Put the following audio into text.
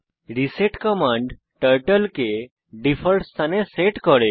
reset command turtle কে default স্থানে set করে